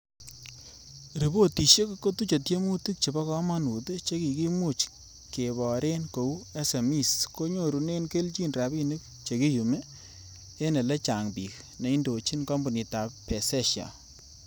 Ripotisiek kotuche tiemutik che bo komonut che kikimuch keboren kou SMEs konyorunen kelchin rabinik chekiyumi ene elechang bik neindochin kompunitab Pezesha.